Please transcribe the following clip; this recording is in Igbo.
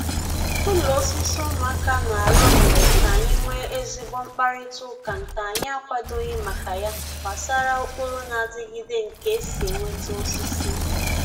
Ụlọ osisi nke ụmụaka na-arụ mere k'anyị nwee ezigbo mkparịta ụka nke anyị akwadoghị maka ya gbasara ụkpụrụ na-adịgịde nke e si enweta osisi.